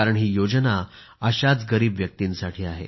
ही योजना अशाच गरीब व्यक्तींसाठी आहे